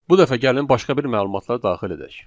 Bu dəfə gəlin başqa bir məlumatlar daxil edək.